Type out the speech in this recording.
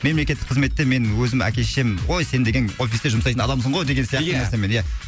мемлекеттік қызметте мен өзім әке шешем ой сен деген офисте жұмсайтын адамсың ғой деген сияқты нәрсемен ия